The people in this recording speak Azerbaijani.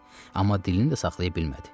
Amma dilini də saxlaya bilmədi.